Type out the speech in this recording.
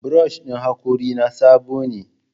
Brush ɗin hakorina sabo ne.